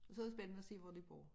Og så det spændende at se hvor de bor